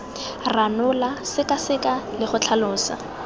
ranola sekaseka le go tlhalosa